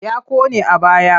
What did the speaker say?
Ya ƙone a baya.